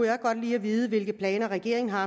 jeg godt lige vide hvilke planer regeringen har